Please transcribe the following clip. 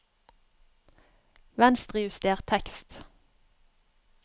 Venstrejuster tekst